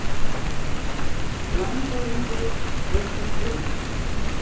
LANDSHÖFÐINGI: Frekar stríð?